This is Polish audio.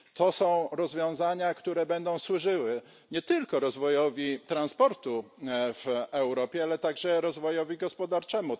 Są to rozwiązania, które będą służyły nie tylko rozwojowi transportu w Europie, ale także rozwojowi gospodarczemu.